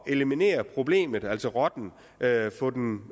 eliminere problemet altså rotten at få den